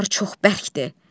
Oralar çox bərkdir.